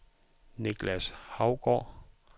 Niklas Hougaard